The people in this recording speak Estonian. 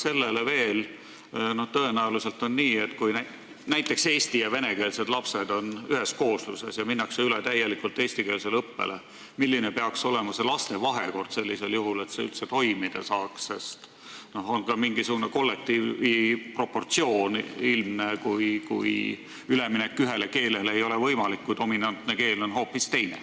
Peale selle, tõenäoliselt on nii, et kui näiteks eesti- ja venekeelsed lapsed on ühes koosluses ja minnakse üle täielikult eestikeelsele õppele, siis peab vaatama, milline peaks olema laste vahekord, et see üldse toimida saaks, sest on ilmselt ka mingisugune kollektiivi proportsioon, mille puhul üleminek ühele keelele ei ole võimalik, kui dominantne keel on hoopis teine.